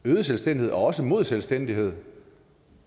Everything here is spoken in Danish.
øget selvstændighed og også mod fuld selvstændighed